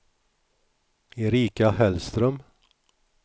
Erika Hellström